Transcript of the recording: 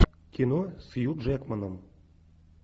кино с хью джекманом